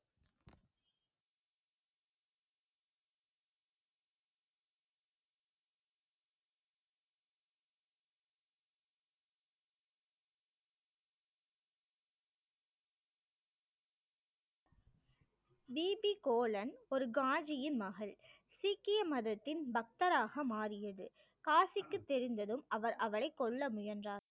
BP Kaulan ஒரு காஜியின் மகள் சீக்கிய மதத்தின் பக்தராக மாறியது காஜிக்கு தெரிந்ததும் அவர் அவளை கொல்ல முயன்றார்